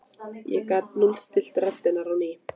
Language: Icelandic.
ég gat núllstillt radarinn á ný.